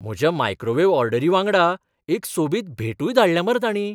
म्हज्या मायक्रोवेव्ह ऑर्डरी वांगडा एक सोबीत भेटूय धाडल्या मरे तांणीं.